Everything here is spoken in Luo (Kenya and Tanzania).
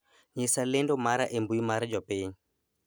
nyisa lendo mara e mbui mar jopiny